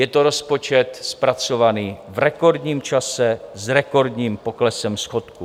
Je to rozpočet zpracovaný v rekordním čase s rekordním poklesem schodku.